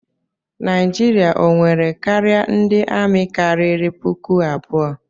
Naijiria o nwere karịa ndị amị karịrị puku abụọ?